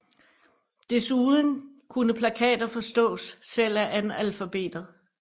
Desuden kunne plakater forstås selv af analfabeter